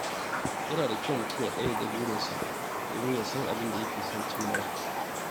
Yana da kyau mutum ya ƙayyade burinsa domin ya san abin da yake son cimmawa.